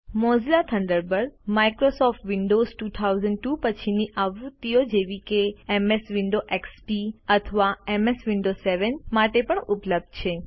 Mozilla Thunderbird Microsoft Windows 2000 પછીની આવૃત્તિઓ જેવી કે એમએસ વિન્ડોઝ એક્સપી અથવા એમએસ વિન્ડોઝ 7 માટે પણ ઉપલબ્ધ છે